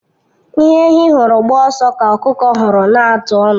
Ihe ehi hụrụ gbaa ọsọ ka ọkụkọ hụrụ n'atụ ọnụ.